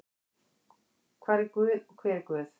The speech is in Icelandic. Hvar er guð og hver er guð?